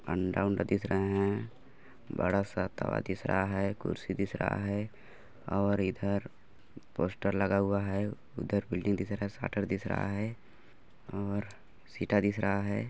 अंडा वंडा दिख रहा है बड़ा सा तवा दिख रहा है कुर्सी दिख रहा है और इधर पोस्टर लगा हुआ है इधर बिल्डिंग दिख रहा है सेटर वेटर दिख रहा है और सीटा दिख रहा है।